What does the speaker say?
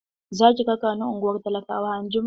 Za ki raka ni ungwar talakawa anjima?